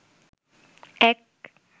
এক